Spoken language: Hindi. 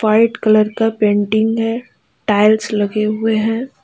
व्हाइट कलर का पेंटिंग है टाइल्स लगे हुए हैं।